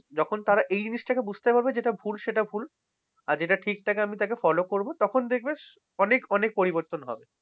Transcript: যখন তারা এই জিনিসটা বুঝতে পারবে যেটা ভুল সেটা ভুল। আর যেটা ঠিক তাকে আমি follow করবো। তখন দেখবেন অনেক অনেক পরিবর্তন হবে।